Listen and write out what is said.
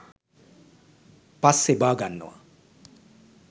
පස්සේ බාගන්නවා